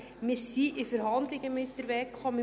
Wir sind in Verhandlungen mit der WEKO.